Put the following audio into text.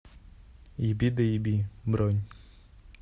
ебидоеби бронь